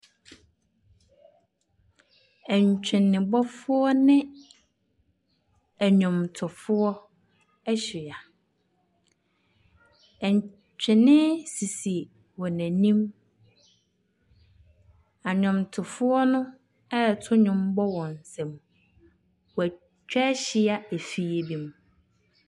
Ntwenebɔfoɔ ne nnwomtofoɔ ahyia. Ntwene sisi wɔn anim. Nnwomtofoɔ no reto nnwom bɔ wɔn nsam. Wɔatwa ahyia efie bi mu.